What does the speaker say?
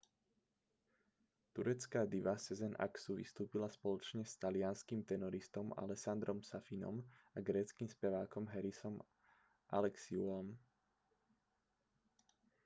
turecká diva sezen aksu vystúpila spoločne s talianskym tenoristom alessandrom safinom a gréckym spevákom harisom alexiouom